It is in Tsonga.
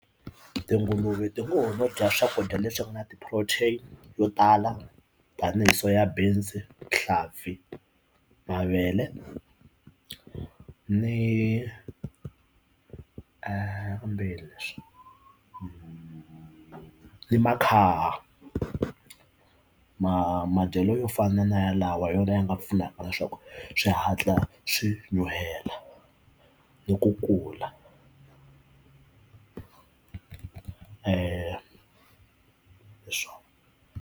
Tinguluve tingomo bya swakudya leswi nga na ti-protein yo tala tinese ya busy hiv mavele ni a hambileswi ni ni ma kha ma madyelo yo fana na ya lawa yona ya nga pfunaka leswaku swi hatla swi nyuhela ni ku kula hi swona.